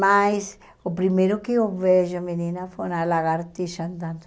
Mas o primeiro que eu vejo, menina, foi uma lagartixa andando.